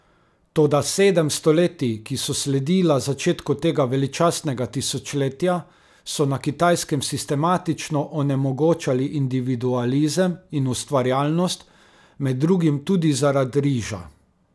Toda sedem stoletij, ki so sledila začetku tega veličastnega tisočletja, so na Kitajskem sistematično onemogočali individualizem in ustvarjalnost, med drugim tudi zaradi riža.